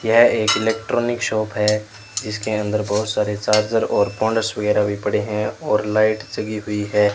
यह एक electronic shop है जिसके अंदर बहोत सारे चार्जर और फोनस वगैरा भी पड़े है और लाइट जगी हुई है।